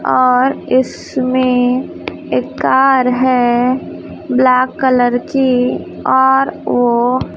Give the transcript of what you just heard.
और इसमें एक कार है ब्लैक कलर की और ओ--